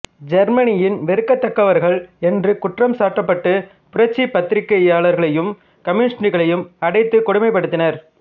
ஜெர்மனியின் வெறுக்கத்தக்கவர்கள் என்று குற்றம் சாற்றப்பட்டு புரட்சி பத்திரிகையாளர்களையும் கம்யூனிஷ்டுகளையும் அடைத்துக் கொடுமைப்படுத்தினர்